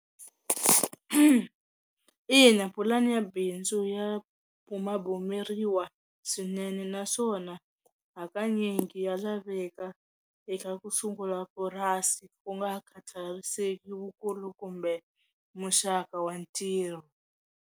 Ina pulani ya bindzu ya bumabumeriwa swinene naswona hakanyingi ya laveka eka ku sungula purasi ku nga khathariseki wukulu kumbe muxaka wa ntirho.